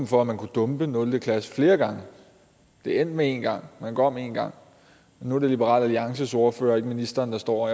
for at man kunne dumpe nul klasse flere gange det endte med en gang at man går om en gang nu er det liberal alliances ordfører og ikke ministeren der står